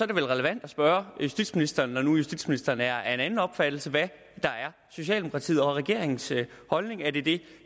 det vel relevant at spørge justitsministeren når nu justitsministeren er af en anden opfattelse hvad der er socialdemokratiet og regeringens holdning er det det